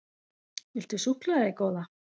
Viltu súkkulaði, góða?